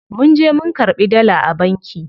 Munje mun karɓi dala a banki.